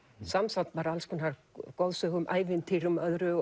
samsafn af alls konar goðsögum ævintýrum og öðru